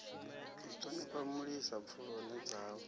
u thonifha mulisa pfuloni dzanu